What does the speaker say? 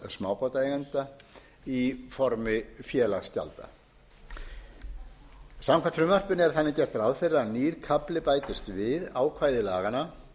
smábátaeigenda í formi félagsgjalda samkvæmt frumvarpinu er því gert ráð fyrir að nýr kafla bætist við ákvæði laganna